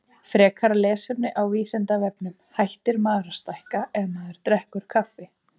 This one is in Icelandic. Frekara lesefni á Vísindavefnum: Hættir maður að stækka ef maður drekkur kaffi?